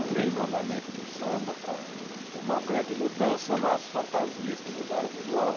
Além do andamento do samba, para uma grande mudança nas fantasias que mudaram o visual.